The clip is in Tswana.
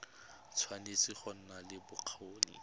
tshwanetse go nna le bokgoni